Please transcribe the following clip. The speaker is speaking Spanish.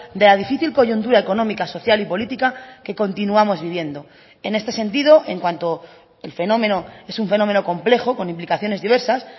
de la difícil coyuntura económica social y política que continuamos viviendo en este sentido en cuanto el fenómeno es un fenómeno complejo con implicaciones diversas